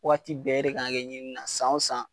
Waati bɛɛ , e de kan ka kɛ ɲini na san wo san